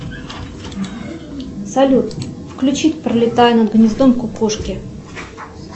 салют включить пролетая над гнездом кукушки